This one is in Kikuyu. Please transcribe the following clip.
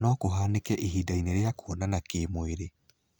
No kũhanĩke ihindainĩ rĩa kũonana kĩmwĩri.